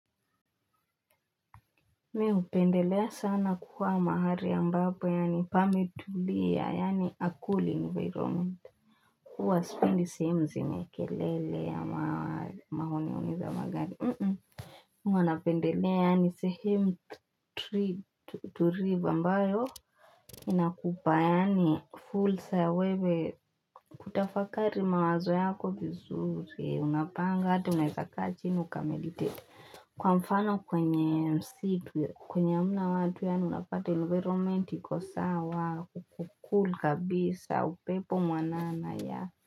Mi hupendelea sana kuwa mahali ambapo yaani pametulia yaani a cool environment Kwa sipindi sehemu zinye kelele ya mahoni honi za magari Mwana pendelea yaani sehemu turivu ambayo Inakupa yaani fursa ya wewe Kutafakari mawazo yako vizuri unapanga hata unaweza kaa chini uka meditate Kwa mfano kwenye msitu, kwenye hamna watu ya unapata environment ikosawa, kuko cool kabisa, upepo mwanana ya.